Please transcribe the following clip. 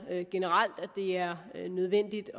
generelt det er nødvendigt